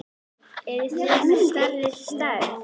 Eruð þið með stærri stærð?